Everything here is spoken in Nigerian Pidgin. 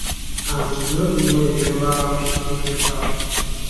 and no even remember how she take reach house